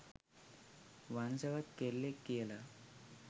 වංශවත් කෙල්ලෙක් කියලා.